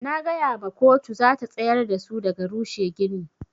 Na gaya ma koto zata tsayar dasu daga rushe gini.